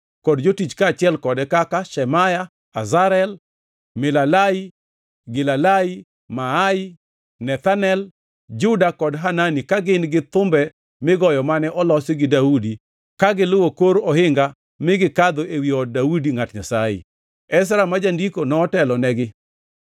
kod jotich kaachiel kode kaka: Shemaya, Azarel, Milalai, Gilalai, Maai, Nethanel, Juda kod Hanani ka gin-gi thumbe migoyo mane olos gi Daudi ka giluwo kor ohinga mi gikadho ewi od Daudi ngʼat Nyasaye. Ezra ma jandiko notelonegi.